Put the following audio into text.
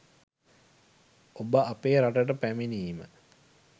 ඔබ අපේ රටට පැමිණීම